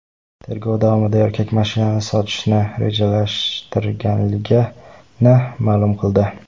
Tergov davomida erkak mashinani sotishni rejalashtirganligini ma’lum qildi.